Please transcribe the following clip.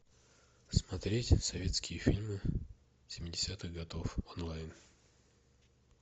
смотреть советские фильмы семидесятых годов онлайн